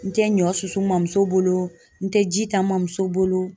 N tɛ ɲɔ susu mamuso bolo, n tɛ ji ta n mamuso bolo ,